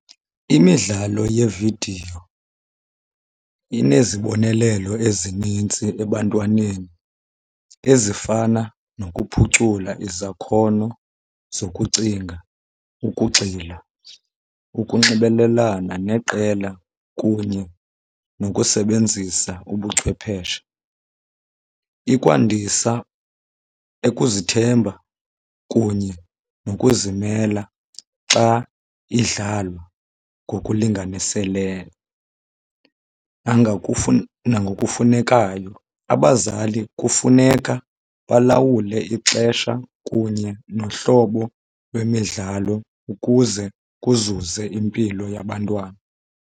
Imidlalo yeevidiyo inezibonelelo ezininzi ebantwaneni ezifana nokuphucula izakhono zokucinga, ukugxila, ukunxibelelana neqela kunye nokusebenzisa ubuchwepheshe. Ikwandisa ukuzithemba kunye nokuzimela xa idlalwa ngokulinganiseleyo nangokufunekayo. Abazali kufuneka balawule ixesha kunye nohlobo lwemidlalo ukuze kuzuze impilo yabantwana.